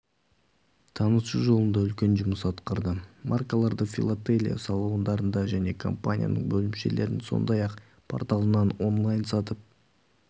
таныту жолында үлкен жұмыс атқарды маркаларды филателия салондарында және компанияның бөлімшелерінен сондай-ақ порталынан онлайн сатып